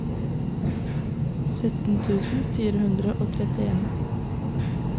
sytten tusen fire hundre og trettien